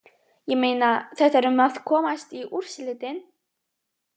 Ég meina, þetta er um að komast í úrslitin.